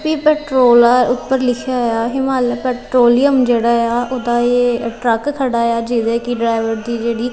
ਪੀ petrol ਆ ਉੱਪਰ ਲਿਖਿਆ ਹੋਇਆ ਆ ਹਿਮਾਲਿਆ ਪੈਟਰੋਲਿਅਮ ਜਿਹੜਾ ਆ ਉਹਦਾ ਇਹ ਟਰੱਕ ਖੜਾ ਆ ਜਿਹਦੇ ਕਿ ਡਰਾਈਵਰ ਦੀ ਜਿਹੜੀ--